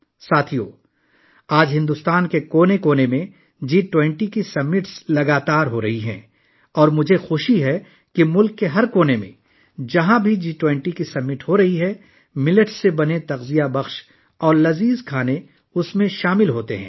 دوستو، آج بھارت کے کونے کونے میں جی 20 سربراہی اجلاس کی تقریبات جاری ہیں اور مجھے خوشی ہے کہ ملک کے کونے کونے میں جہاں بھی جی 20 سربراہی اجلاس منعقد ہو رہا ہے، اس میں جوار سے تیار کردہ غذائیت سے بھرپور اور لذیذ پکوان شامل ہیں